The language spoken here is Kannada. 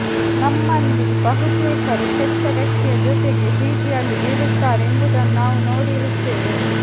ನಮ್ಮಲ್ಲಿ ಬಹುತೇಕರು ಕೆಟ್ಟ ವ್ಯಕ್ತಿಯ ಜೊತೆಗೆ ಪ್ರೀತಿಯಲ್ಲಿ ಬೀಳುತ್ತಾರೆ ಎಂಬುದನ್ನು ನಾವು ನೋಡಿರುತ್ತೇವೆ